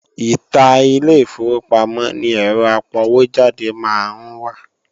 Ìta ilé ìfowópamọ́ ni ẹ́rọ apọwójáde máa ń wà